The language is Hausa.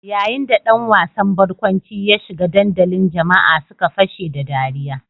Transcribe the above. Yayin da ɗan wasan barkwanci ya shiga dandalin jama'a suka fashe da ɗariya.